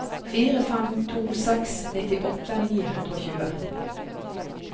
fire fem to seks nittiåtte ni hundre og tjue